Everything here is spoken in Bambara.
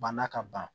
Bana ka ban